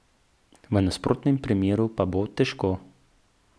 V nasprotnem primeru pa bo težko.